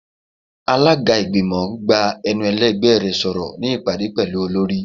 Alaga igbimọ gbá enú elẹgbẹ rẹ sọrọ ni ipade pẹlu olori.